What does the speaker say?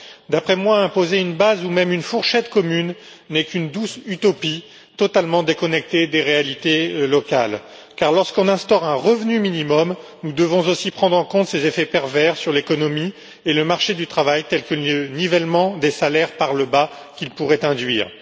D'après moi, imposer une base ou même une fourchette commune n'est qu'une douce utopie, totalement déconnectée des réalités locales, car lorsqu'on instaure un revenu minimum, il faut aussi prendre en compte ses effets pervers sur l'économie et sur le marché du travail, tels que le nivellement des salaires par le bas qu'il pourrait induire.